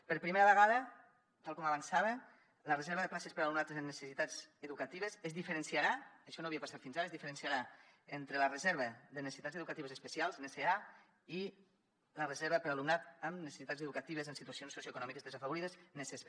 per primera vegada tal com avançava la reserva de places per a alumnat amb necessitats educatives és diferenciarà això no havia passat fins ara entre la reserva de necessitats educatives especials nese a i la reserva per a alumnat amb necessitats educatives en situacions socioeconòmiques desafavorides neses b